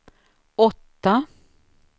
åtta